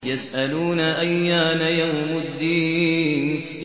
يَسْأَلُونَ أَيَّانَ يَوْمُ الدِّينِ